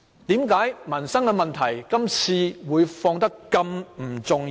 為何民生問題今天變得不甚重要？